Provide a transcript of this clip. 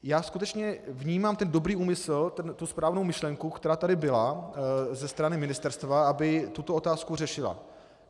Já skutečně vnímám ten dobrý úmysl, tu správnou myšlenku, která tady byla ze strany ministerstva, aby tuto otázku řešila.